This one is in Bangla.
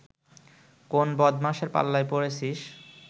কোন বদমাশের পাল্লায় পড়েছিস